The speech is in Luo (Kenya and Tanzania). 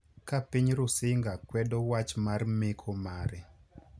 ka piny Rusinga kwedo wach mar meko mare.